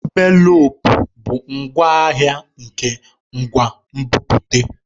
Envelopu bụ ngwaahịa nke ngwa nbipute.